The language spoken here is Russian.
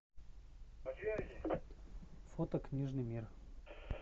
фото книжный мир